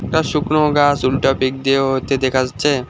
একটা শুকনো গাছ উল্টা দিয়ে হচ্ছে দেখা যাচ্ছে।